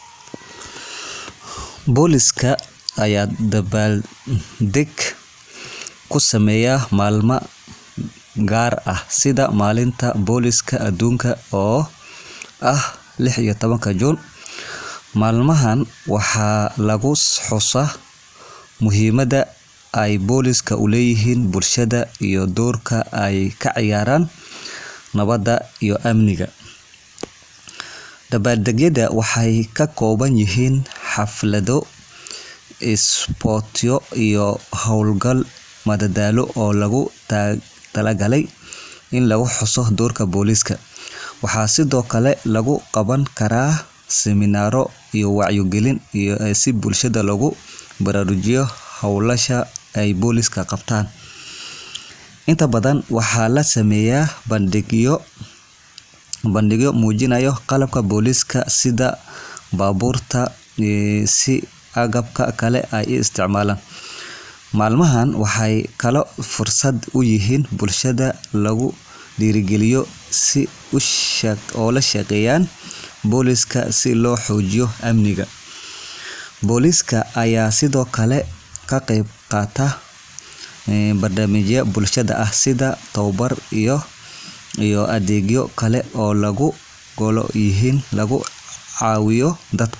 Booliska ayaa dabaalded ku sameeya maalmaha gaarka ah sida maalinta booliska aduunka, oo ah 16-ka Juun. Maalmahan waxaa lagu xusaa muhiimadda ay boolisku u leeyihiin bulshada, iyo doorka ay ka ciyaaraan nabadda iyo amniga. Dabaaldegyadu waxay ka kooban yihiin xaflado, isboorti, iyo hawlo madadaalo oo loogu talagalay in lagu xuso doorka booliska. Waxaa sidoo kale lagu qaban karaa siminaaro iyo wacyigelin si bulshada loogu baraarujiyo hawlaha ay boolisku qabtaan. Inta badan, waxaa la sameeyaa bandhigyo muujinaya qalabka booliska, sida baabuurta iyo agabka kale ee ay isticmaalaan. Maalmahani waxay kaloo fursad u yihiin in bulshada lagu dhiirrigeliyo in ay la shaqeeyaan booliska si loo xoojiyo amniga. Booliska ayaa sidoo kale ka qayb qaata barnaamijyo bulshada ah, sida tababaro iyo adeegyo kale oo looga gol leeyahay in lagu caawiyo dadka.